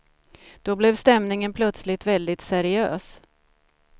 Då blev stämningen plötsligt väldigt seriös.